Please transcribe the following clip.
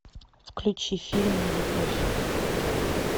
включи фильм нелюбовь